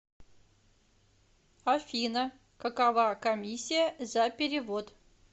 афина какова комиссия за перевод